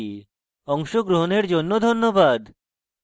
অংশগ্রহনের জন্য ধন্যবাদ